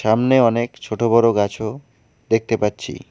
সামনে অনেক ছোট-বড় গাছও দেখতে পাচ্ছি।